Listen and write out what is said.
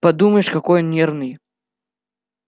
подумаешь какой он нервный